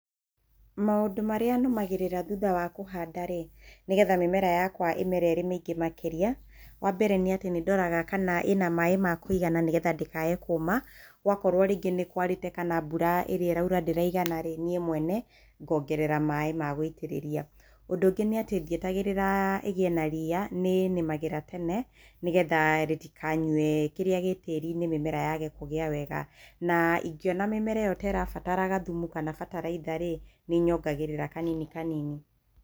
Maũndũ marĩa nũmagĩrĩra thutha wa kũhanda rĩ, nĩgetha mĩmera yakwa ĩmere ĩrĩ mĩingĩ makĩria, wa mbere nĩatĩ nĩndoraga kana ĩna maĩ ma kũigana nĩgetha ndĩkage kũma, wakorwo rĩngĩ nĩ kwarĩte kana mbura ĩrĩa ĩraura ndĩraigana rĩ, niĩ mwene ngongerera maĩ ma gũitĩrĩria. Ũndũ ũngĩ nĩ atĩ ndietagĩrĩra ĩgĩe na riia, nĩnĩmagĩra tene nĩgetha rĩtikanyue kĩrĩa gĩ tĩĩri-inĩ mĩmera yage kũgĩa wega na ingĩona mĩmera ĩyo ta ĩrabatara gathumu kana bataraitha rĩ, nĩnyongagĩrĩra kanini kanini.